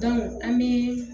an bɛ